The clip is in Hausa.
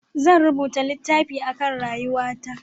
Zan rubuta littafi a kan rayuwa ta